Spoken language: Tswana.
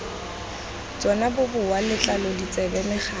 tsona boboa letlalo ditsebe megatla